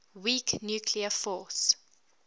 weak nuclear force